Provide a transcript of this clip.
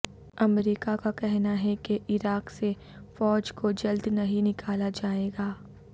امریکہ کا کہنا ہے کہ عراق سے فوج کو جلد نہیں نکالا جائے گا